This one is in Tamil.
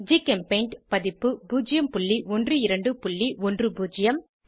ஜிகெம்பெய்ண்ட் பதிப்பு 01210